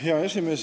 Hea esimees!